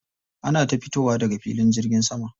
Ana ta fitowa daga filin jirgin sama.